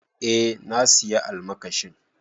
Eh na sayi almakashin.